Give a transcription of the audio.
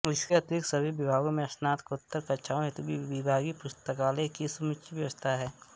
इसके अतिरिक्त सभी विभागों में स्नातकोत्तर कक्षाओं हेतु विभागीय पुस्तकालय की समुचित व्यवस्था है